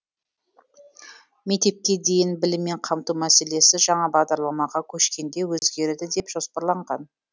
мектепке дейінгі біліммен қамту мәселесі жаңа бағдарламаға көшкенде өзгереді деп жоспарланған